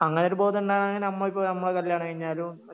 അങ്ങനെ ഒരു ബോധം ഉണ്ടാവണമെങ്കിൽ നമ്മളിപ്പോ നമ്മൾ കല്യാണം കഴിഞ്ഞാലും